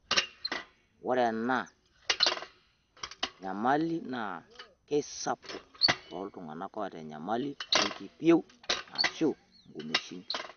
Ore ena nyamali naa keisapuk tooltung'ana oota enyamali oolkipieu aashu nkumeishin.